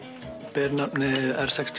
ber nafnið r sex